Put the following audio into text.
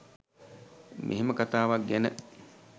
මෙහෙම කතාවක් ගැන